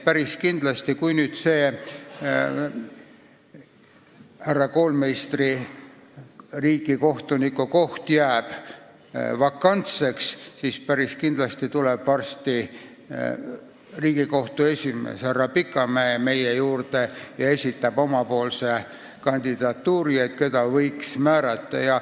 Kui see härra Koolmeistri riigikohtuniku koht nüüd vakantseks jääb, siis päris kindlasti tuleb Riigikohtu esimees härra Pikamäe varsti meie juurde ja esitab oma kandidaadi, keda võiks riigikohtunikuks määrata.